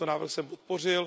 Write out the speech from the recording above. Tento návrh jsem podpořil.